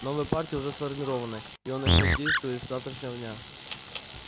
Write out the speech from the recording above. новая партия уже сформирована и она начнёт действовать с завтрашнего дня